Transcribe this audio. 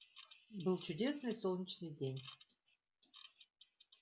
был чудесный солнечный день